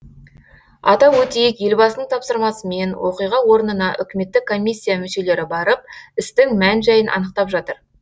атап өтейік елбасының тапсырмасымен оқиға орнына үкіметтік комиссия мүшелері барып істің мән жайын анықтап жатыр